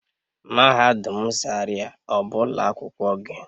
Mahadum zaria ọ bụ ụlọ akwụkwọ gị?